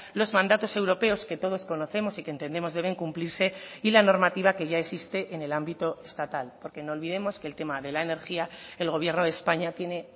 los mandatos europeos que todos conocemos y que entendemos deben cumplirse y la normativa que ya existe en el ámbito estatal porque no olvidemos que el tema de la energía el gobierno de españa tiene